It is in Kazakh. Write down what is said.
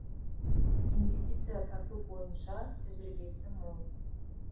инвестиция тарту бойынша тәжірибесі мол